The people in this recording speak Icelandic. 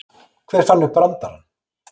Hver fann upp brandarann?